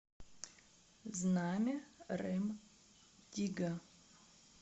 знамя рем дигга